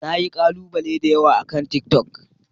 Na yi kalubale da yawa akan tiktok.